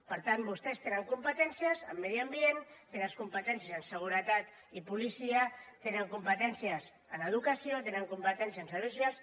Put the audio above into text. per tant vostès tenen competències en medi ambient té les competències en seguretat i policia tenen competències en educació tenen competències en serveis socials